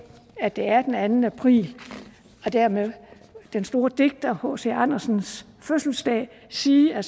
at det er den anden april og dermed den store digter hc andersens fødselsdag sige at